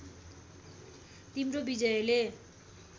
तिम्रो विजयले